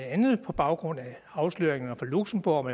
andet er på baggrund af afsløringerne fra luxembourg